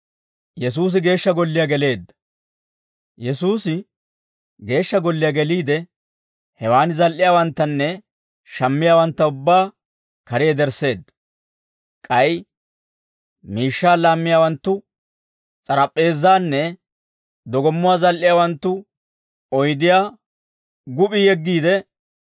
Yesuusi Geeshsha Golliyaa geliide, hewaan zal"iyaawanttanne shammiyaawantta ubbaa kare yedersseedda; k'ay miishshaa laammiyaawanttu s'arap'p'eezaanne dogommuwaa zal"iyaawanttu oydiyaa gup'p'i yeggiide,